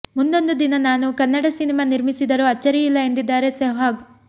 ಮುಂದೊಂದು ದಿನ ನಾನು ಕನ್ನಡ ಸಿನಿಮಾ ನಿರ್ಮಿಸಿದರೂ ಅಚ್ಚರಿಯಿಲ್ಲ ಎಂದಿದ್ದಾರೆ ಸೆಹ್ವಾಗ್